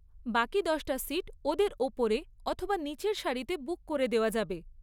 বাকি দশটা সিট ওদের ওপরে অথবা নিচের সারিতে বুক করে দেওয়া যাবে।